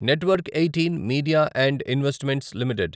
network eighteen media and investments limited